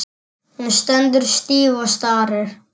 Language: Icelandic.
Hún stendur stíf og starir.